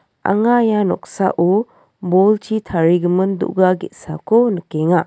anga ia noksao bolchi tarigimin do·ga ge·sako nikenga.